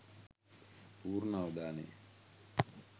පූර්ණ අවධානය